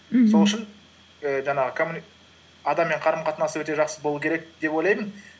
мхм сол үшін і жаңағы адаммен қарым қатынасы өте жақсы болу керек деп ойлаймын